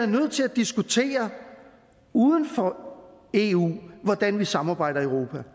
nødt til at diskutere uden for eu hvordan vi samarbejder i europa